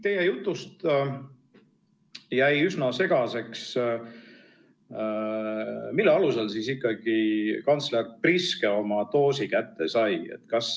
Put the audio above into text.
Teie jutu põhjal jäi üsna segaseks, mille alusel siis ikkagi kantsler Priske oma doosi kätte sai.